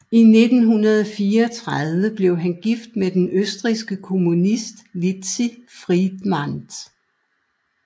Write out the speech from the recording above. I 1934 blev han gift med den østrigske kommunist Litzi Friedmann